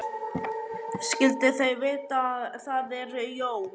Skyldu þau vita að það eru jól?